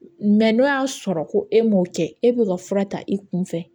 n'o y'a sɔrɔ ko e m'o kɛ e bɛ ka fura ta i kun fɛ